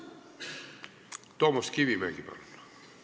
Toomas Kivimägi, palun!